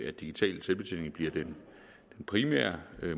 at digital selvbetjening bliver den primære